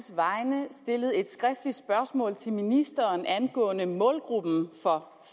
vegne stillet et skriftligt spørgsmål til ministeren angående målgruppen for